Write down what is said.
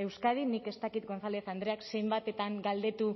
euskadi nik ez dakit gonzález andreak zenbatetan galdetu